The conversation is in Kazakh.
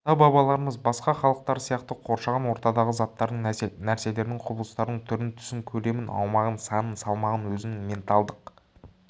ата-бабаларымыз басқа халықтар сияқты қоршаған ортадағы заттардың нәрселердің құбылыстардың түрін түсін көлемін аумағын санын салмағын өзінің ментальдық